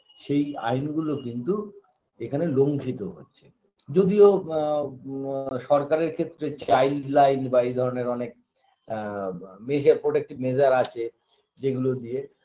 সেই আইনগুলো কিন্তু এখানে লঙ্ঘিত হচ্ছে যদিও ম ম সরকারের ক্ষেত্রে child line বা এই ধরনের অনেক এ ব measure protective measure আছে যেগুলো দিয়ে